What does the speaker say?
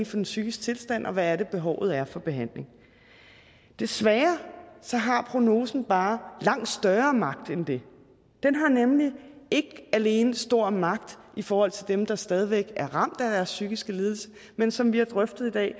for en psykisk tilstand og hvad det er behovet er for behandling desværre har prognosen bare langt større magt end det den har nemlig ikke alene stor magt i forhold til dem der stadig væk er ramt af deres psykiske lidelse men som vi har drøftet i dag